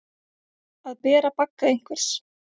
Að bera bagga einhvers